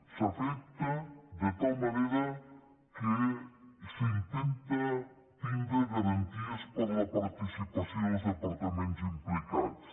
s’afecta de tal manera que s’intenta tindre garanties per la participació dels departaments implicats